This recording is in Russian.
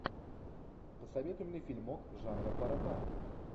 посоветуй мне фильмок жанра паропанк